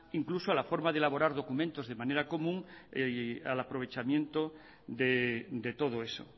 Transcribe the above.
incluso a la forma de elaborar documentos de manera común al aprovechamiento de todo eso